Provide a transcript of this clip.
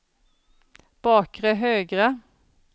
bakre högra